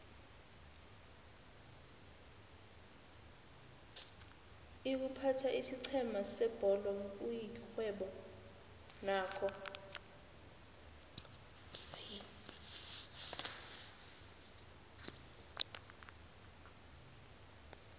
iykuphatha isiqhema sebholo kuyixhwebo nakho